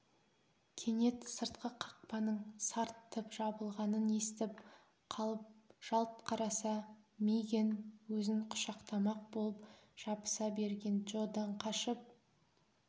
кенет сыртқы қақпаның сарт тіп жабылғанын естіп қалып жалт қараса мигэн өзін құшақтамақ болып жабыса берген джодан қашып